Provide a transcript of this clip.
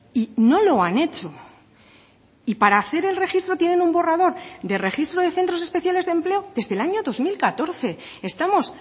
y no lo han hecho y para hacer el registro tienen un borrador de registro de centros especiales de empleo desde el año dos mil catorce estamos